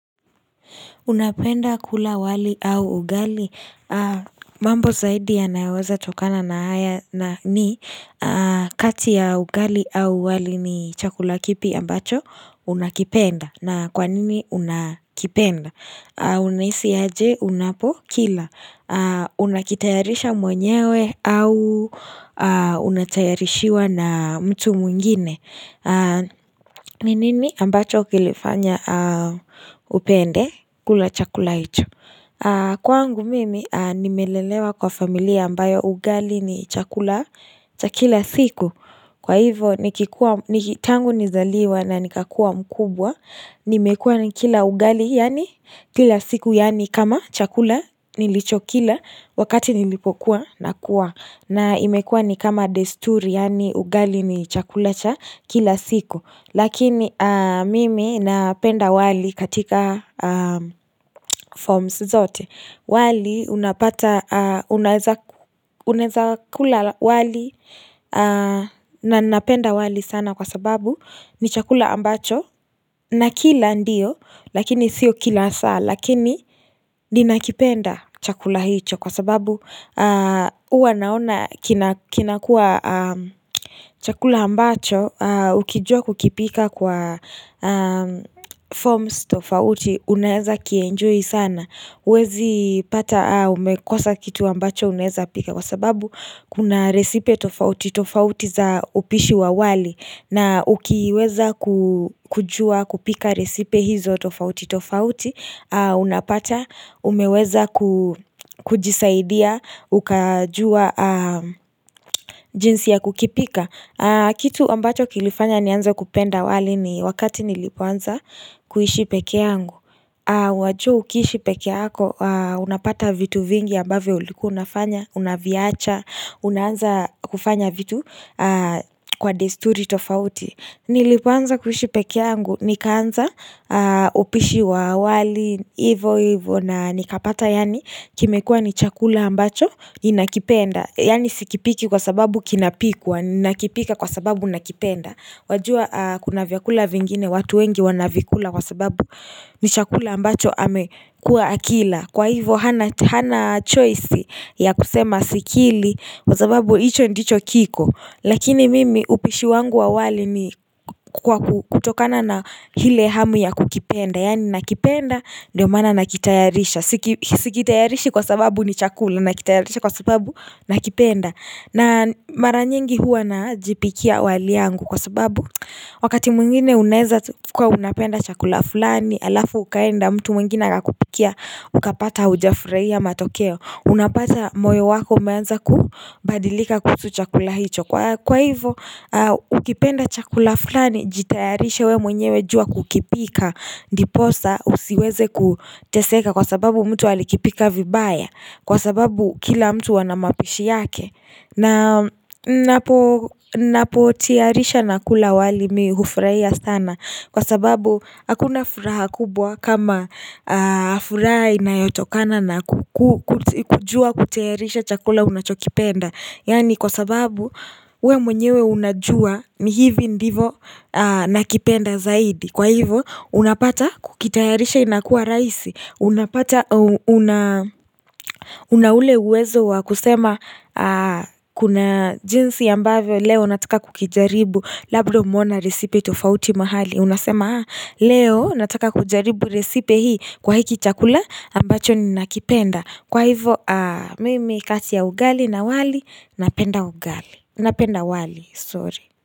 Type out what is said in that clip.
Unapenda kula wali au ugali? Mambo zaidi yanayoweza tokana na haya na ni. Kati ya ugali au wali ni chakula kipi ambacho unakipenda. Na kwa nini unakipenda? Unahisi aje unapokila Unakitayarisha mwenyewe au unatayarishiwa na mtu mwingine ni nini ambacho kilifanya upende kula chakula hicho. Kwaangu mimi nimelelewa kwa familia ambayo ugali ni chakula cha kila siku. Kwa hivo Niki tangu nizaliwa na nikakuwa mkubwa nimekuwa nikila ugali yaani kila siku yaani kama chakula nilichokila wakati nilipokuwa nakua na imekuwa ni kama desturi yaani ugali ni chakula cha kila siku lakini mimi napenda wali katika forms zote wali unapata unaweza kula wali na napenda wali sana kwa sababu ni chakula ambacho Nakila ndio lakini sio kila saa lakini ninakipenda chakula hicho kwa sababu huwa naona kinakua chakula ambacho ukijua kukipika kwa forms tofauti unaweza kienjoy sana. Huwezi pata umekosa kitu ambacho unaweza pika kwa sababu kuna resipe tofauti tofauti za upishi wa wali na ukiweza kujua kupika resipe hizo tofauti tofauti unapata umeweza kujisaidia ukajua jinsi ya kukipika. Kitu ambacho kilifanya nianze kupenda wali ni wakati nilipoanza kuishi pekee yangu. Wajua ukiishi pekee yako unapata vitu vingi ambavyo ulikuwa unafanya Unaviacha unaanza kufanya vitu kwa desturi tofauti. Nilipoanza kuishi pekee yangu nikaanza upishi wa wali Ivo ivo na nikapata yaani kimekuwa ni chakula ambacho Ninakipenda. Yaani sikipiki kwa sababu kinapikwa, nakipika kwa sababu nakipenda. Wajua kuna vyakula vingine watu wengi wanavikula kwa sababu ni chakula ambacho amekuwa akila, Kwa hivyo hana choice ya kusema sikili kwa sababu hicho ndicho kiko. Lakini mimi upishi wangu wa wali ni kutokana na ile hamu ya kukipenda. Yaani nakipenda ndio maana nakitayarisha. Sikitayarishi kwa sababu ni chakula nakitayarisha kwa sababu nakipenda. Na maranyingi huwa najipikia wali yangu kwa sababu Wakati mwingine unaweza kuwa unapenda chakula fulani halafu ukaenda mtu mwingine akakupikia ukapata haujafurehia matokeo. Unapata moyo wako umeanza kubadilika kuhusu chakula hicho. Kwa hivo ukipenda chakula fulani Jitayarishe wewe mwenyewe jua kukipika Ndiposa usiweze kuteseka kwa sababu mtu alikipika vibaya Kwa sababu kila mtu ana mapishi yake na napotiarisha na kula wali, mi hufurahia sana Kwa sababu hakuna furaha kubwa kama furaha inayotokana na kujua kutayarisha chakula unachokipenda. Yaani kwa sababu wewe mwenyewe unajua ni hivi ndivo nakipenda zaidi. Kwa hivyo unapata kukitayarisha inakuwa rahisi Una ule uwezo wa kusema kuna jinsi ambavyo leo nataka kukijaribu labda umeona resipe tofauti mahali. Unasema haa leo nataka kujaribu resipe hii kwa hiki chakula ambacho ninakipenda Kwa hivyo mimi kati ya ugali na wali napenda ugali Napenda wali sorry.